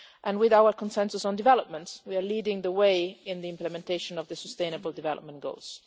With our consensus on development, we are leading the way in the implementation of the sustainable development goals.